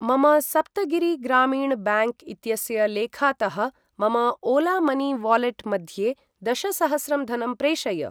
मम सप्तगिरि ग्रामीण ब्याङ्क् इत्यस्य लेखातः मम ओला मनी वालेट् मध्ये दशसहस्रं धनं प्रेषय।